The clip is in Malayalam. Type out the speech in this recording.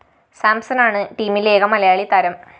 സാംസണാണ് ടീമിലെ ഏക മലയാളി താരം